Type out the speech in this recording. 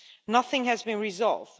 Nothing has been resolved